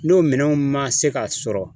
N'o minɛnw ma se ka sɔrɔ